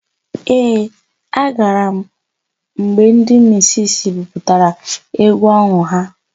Ee, agara m mgbe ndị misisi buputara égwú ọhụụ ha.